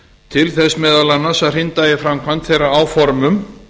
til þess meðal annars að hrinda í framkvæmd þeirra áformum